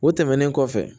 O tɛmɛnen kɔfɛ